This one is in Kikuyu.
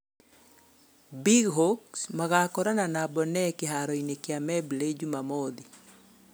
Big Hawks magakorana na Bonee kĩharoinĩ kĩa Membley, Jumamothi.